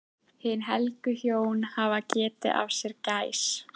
Hin helgu hjón hafa getið af sér gæs.